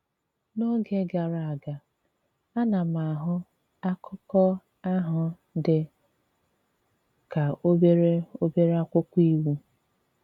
N’ógè gàrà aga, a na m ahụ̀ akụkọ̀ ahụ̀ dị kà obere obere akwụkwọ íwú.